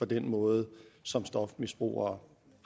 den måde som stofmisbrugere